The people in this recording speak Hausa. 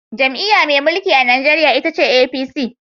Jam’iyya mai mulki a Najeriya ita ce APC.